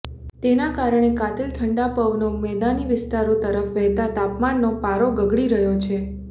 તેના કારણે કાતિલ ઠંડા પવનો મેદાની વિસ્તારો તરફ વહેતાં તાપમાનનો પારો ગગડી રહ્યો છે